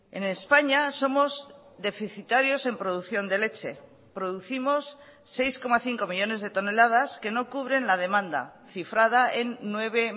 en españa somos deficitarios en producción de leche producimos seis coma cinco millónes de toneladas que no cubren la demanda cifrada en nueve